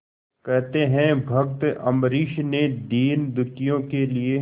कहते हैं भक्त अम्बरीश ने दीनदुखियों के लिए